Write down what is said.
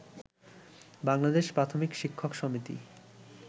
বাংলাদেশ প্রাথমিক শিক্ষক সমিতি